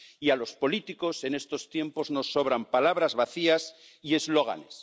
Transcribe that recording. Y a los políticos en estos tiempos nos sobran palabras vacías y eslóganes.